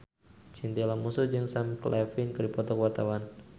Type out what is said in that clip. Chintya Lamusu jeung Sam Claflin keur dipoto ku wartawan